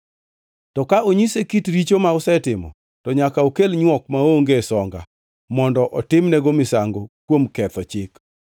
To ka onyise kit richo ma osetimo, to nyaka okel nywok maonge songa mondo otimnego misango kuom ketho chik.